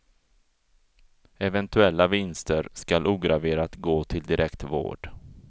Eventuella vinster skall ograverat gå till direkt vård.